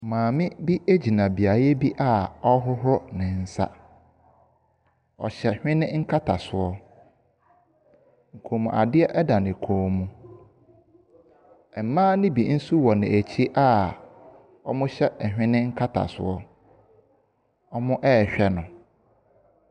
Maame bi gyina beaeɛ bi a ɔrehohoro ne nsa. Ɔhyɛ hwene nkatasoɔ. Kɔnmuadeɛ da ne kɔn mu. Mmaa no bi nso wɔ n'akyi a wɔhyɛ hwene nlatasoɔ, wɔrehwɛ no.